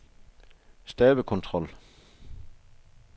stavekontrol